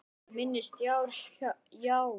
Minni sítar, já